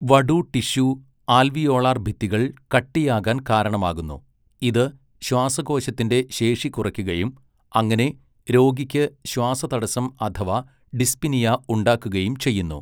വടു tissue alveolar ഭിത്തികൾ കട്ടിയാകാൻ കാരണമാകുന്നു, ഇത് ശ്വാസകോശത്തിന്റെ ശേഷി കുറയ്ക്കുകയും അങ്ങനെ രോഗിക്ക് ശ്വാസതടസ്സം അഥവാ ഡിസ്പ്നിയ ഉണ്ടാക്കുകയും ചെയ്യുന്നു.